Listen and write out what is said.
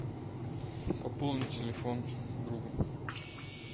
пополни телефон другу